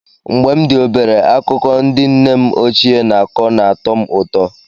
Mgbe m dị obere, akụkọ ndị nne m ochie na-akọ na-atọ m ụtọ.